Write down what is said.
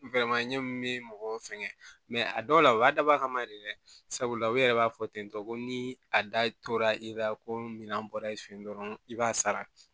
ɲɛ min bɛ mɔgɔw sɛgɛn a dɔw la o y'a dabɔ a kama de dɛ sabula u yɛrɛ b'a fɔ tentɔ ko ni a da tora i ka ko minan bɔra i fɛ yen dɔrɔn i b'a sara